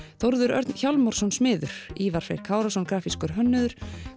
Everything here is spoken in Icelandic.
Þórður Örn Hjálmarsson smiður Ívar Freyr Kárason grafískur hönnuður